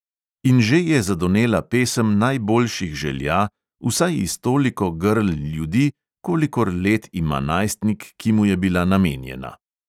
In že je zadonela pesem najboljših želja, vsaj iz toliko grl ljudi, kolikor let ima najstnik, ki mu je bila namenjena.